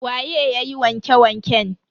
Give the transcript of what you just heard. Waye yayi wanke wanken?